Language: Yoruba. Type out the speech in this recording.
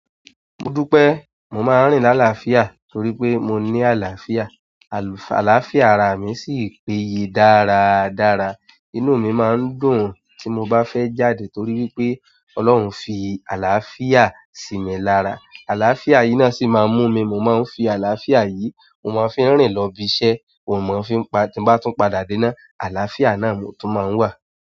Mo dú pé mo máa ń rìn lálaafiá torí pé mo ní àlàáfíà. Àlàáfíà arami sì péye dáradára. Inú mi máa ń dùn tí mo bá fẹ́ jáde torí wípé Ọlọ́run fi àlàáfíà sí mi lára. Àlàáfíà yi náà sì maan mú mi, mo máa ń fi àlàáfíà yi mo máa ń fi rìn lọ ibi iṣẹ́, oun mo máa ń fi padà-- ti n bá tún padà dé náà àlàáfíà na ni mo tún máa ń wa.